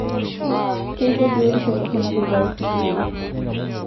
Keiko biotisho toronok ilpayek meibiru.